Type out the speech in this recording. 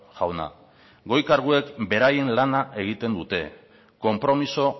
jauna goi karguek beraien lana egiten dute konpromiso